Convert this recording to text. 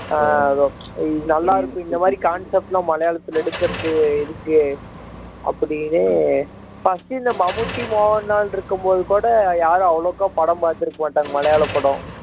ஆஹ் அதுவும் நல்லா இருக்கும் இந்த மாதிரி concept எல்லாம் மலையாளத்தில் எடுக்கிறது இதுக்கு அப்படின்னு first இந்த மம்முட்டி மோகன்லால் இருக்கும்போது கூட யாரும் அவ்வளவா படம் பார்த்து இருக்க மாட்டாங்க மலையாள படம்